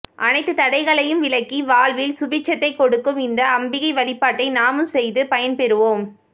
அனைத்து தடைகளையும் விலக்கி வாழ்வில் சுபிட்சத்தை கொடுக்கும் இந்த அம்பிகை வழிபாட்டை நாமும் செய்து பயன்பெறுவோம்